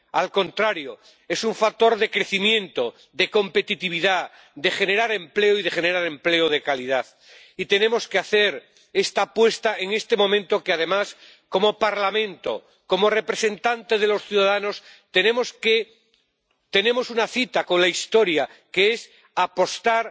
Al contrario, es un factor de crecimiento, de competitividad, de generación de empleo y de generación de empleo de calidad. Y tenemos que hacer esta apuesta en este momento, porque, además, como Parlamento, como representante de los ciudadanos, tenemos una cita con la historia, que es apostar